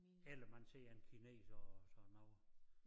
Eller man ser en kineser og sådan noget